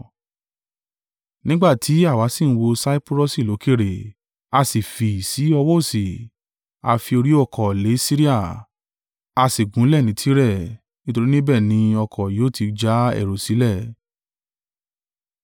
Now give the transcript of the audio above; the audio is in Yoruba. Nígbà tí àwa sì ń wo Saipurọsi lókèèrè, a sì fi í sí ọwọ́ òsì, a fi orí ọ́kọ̀ le Siria, a sì gúnlẹ̀ ni Tire; nítorí níbẹ̀ ni ọkọ̀ yóò tí já ẹrù sílẹ̀.